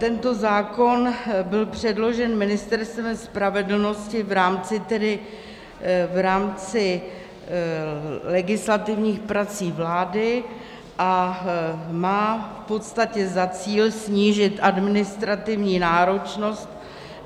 Tento zákon byl předložen Ministerstvem spravedlnosti v rámci legislativních prací vlády a má v podstatě za cíl snížit administrativní náročnost.